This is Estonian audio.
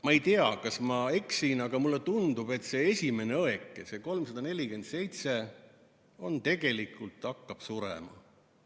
Ma ei tea, kas ma eksin, aga mulle tundub, et see esimene õeke, see 347 tegelikult hakkab surema.